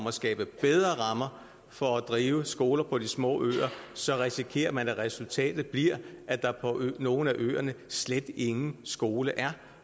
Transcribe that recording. at skabe bedre rammer for at drive skoler på de små øer risikerer man at resultatet bliver at der på nogle af øerne slet ingen skole er